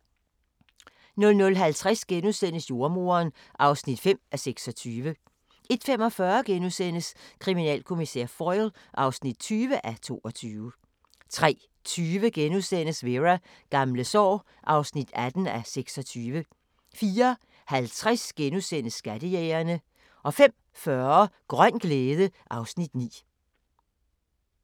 00:50: Jordemoderen (5:26)* 01:45: Kriminalkommissær Foyle (20:22)* 03:20: Vera: Gamle sår (18:26)* 04:50: Skattejægerne * 05:40: Grøn glæde (Afs. 9)